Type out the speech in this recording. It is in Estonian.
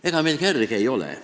Ega meil kerge ole.